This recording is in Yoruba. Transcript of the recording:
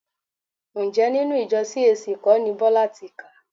Ǹjẹ́ inú ìjọ CAC kọ́ ni Bọ́lá ti kà?